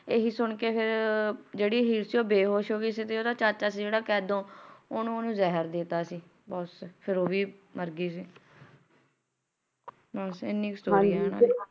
ਤੇ ਆਏ ਹੈ ਸੁਣਨ ਕ ਜੈਰੀ ਹੀਰ ਸੀ ਉਹ ਬੇਹੋਸ਼ ਹੋਗੇ ਸੀ ਉਡਦਾ ਜ਼ੀਰਾ ਚਾਚਾ ਸੀ ਕੈਦੋ ਉਨਹੂ ਉਸ ਨੇ ਜ਼ਹਿਰ ਦੇ ਦਿੱਤਾ ਸੀ ਤੇ ਫਿਰ ਉਹ ਵੀ ਮਾਰ ਗਏ ਸੀ ਬਸ ਇੰਨੀ story ਹੈ